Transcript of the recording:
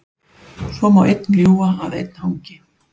Svo má einn ljúga að einn hangi.